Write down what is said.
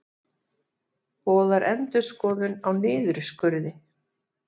Boðar endurskoðun á niðurskurði